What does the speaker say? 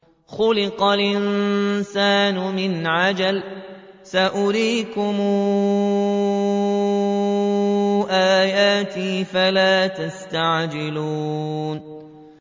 خُلِقَ الْإِنسَانُ مِنْ عَجَلٍ ۚ سَأُرِيكُمْ آيَاتِي فَلَا تَسْتَعْجِلُونِ